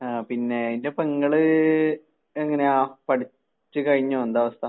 ആഹ് പിന്നെ ഇന്റെ പെങ്ങള് എങ്ങനെയാ? പഠിച്ച് കഴിഞ്ഞോ? എന്താ അവസ്ഥ?